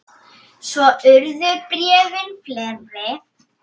Svo urðu bréfin fleiri.